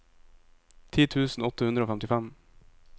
ti tusen åtte hundre og femtifem